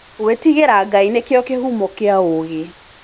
Ngwĩtigĩra Ngai nĩkuo kĩhumo kĩa wũgĩ.